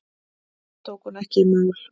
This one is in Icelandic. Það tók hún ekki í mál.